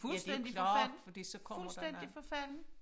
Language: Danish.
Fuldstændig forfalden fuldstændig forfalden